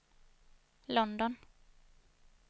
London